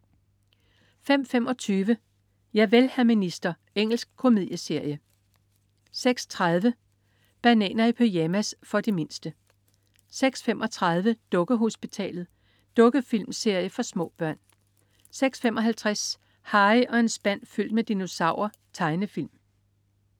05.25 Javel, hr. minister. Engelsk komedieserie 06.30 Bananer i pyjamas. For de mindste 06.35 Dukkehospitalet. Dukkefilmserie for små børn 06.55 Harry og en spand fyldt med dinosaurer. Tegnefilm